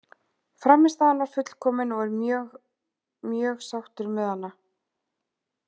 Frammistaðan var fullkomin og er mjög mjög sáttur með hana.